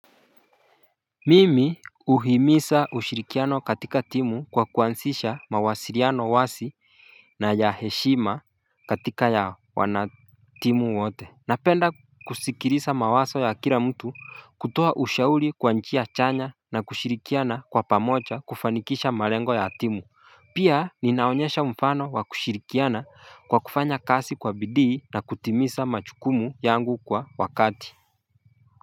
Mimi huhimiza ushirikiano katika timu kwa kuanzisha mawasiliano wazi na ya heshima katika ya wanatimu wote Napenda kusikiliza mawazo ya kila mtu kutoa ushauri kwa njia chanya na kushirikiana kwa pamoja kufanikisha malengo ya timu Pia ninaonyesha mfano wa kushirikiana kwa kufanya kazi kwa bidii na kutimiza majukumu yangu kwa wakati.